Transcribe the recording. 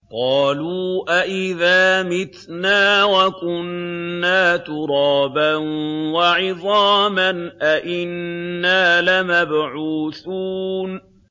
قَالُوا أَإِذَا مِتْنَا وَكُنَّا تُرَابًا وَعِظَامًا أَإِنَّا لَمَبْعُوثُونَ